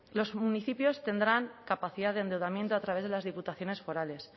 los municipios tendrán capacidad de endeudamiento a través de las diputaciones forales